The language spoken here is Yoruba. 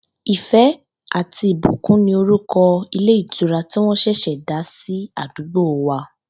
Ìfé̩ àti Ìbùkún ni orúko̩ ilé ìtura tĩ wó̩n s̩è̩s̩è̩ dá sí àdúgbò wa